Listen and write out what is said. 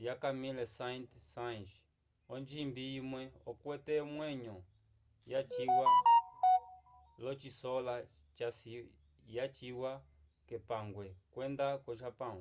lya camille saint-saens onjimbi imwe okwete omwenyo yaciwa l'ocisola yaciwa k'epangwe kwenda ko-japão